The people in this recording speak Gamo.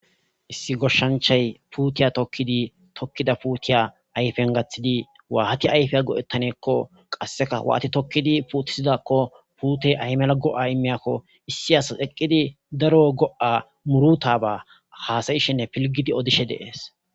Issi goshanchay puute tokidi tokida puutiya ayfen gathidi waathi ayfiya go'etanako kaseka waathi tokidi puutisanako puute ay malako ay imiyako issi asas eqidi daro go'a murutaba haasa'ishene pilgidi odishe de'es.